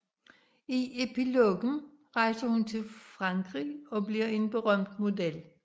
I epilogen rejser hun til Frankrig og bliver en berømt model